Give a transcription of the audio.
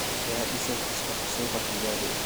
Yaa dhisay Xuska Xasuuqa Kigali?